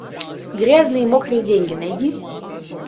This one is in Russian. грязные мокрые деньги найди